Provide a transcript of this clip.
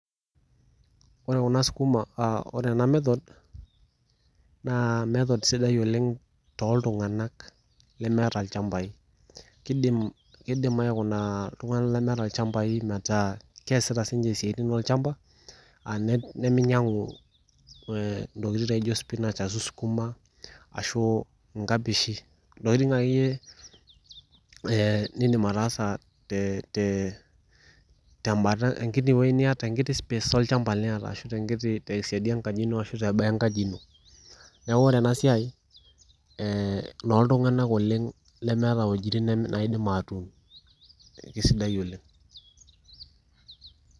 Ore kuna skuma aaore enamethod naa method sidai oleng toltunganak kidim , kidim aikuna iltunganak lemeeta ilchambai metaa keasita sininche isiatin olchamba aa neminyangu ntokitin naijo spinach ashu skuma ashu nkapishi ntokitin akeyie ee nindim ataasa te te nkini wuei niata , tenkiti space olchamba niata ashu tenkiti , tesiadi eboo ino ashu teboo enkaji ino, niaku ore enasiai ee inooltunganak oleng lemeeta wuejitin naidim atuun , kisidai oleng.